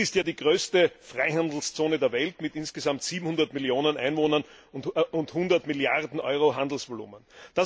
Ziel ist ja die größte Freihandelszone der Welt mit insgesamt 700 Millionen Einwohnern und 100 Milliarden Euro Handelsvolumen.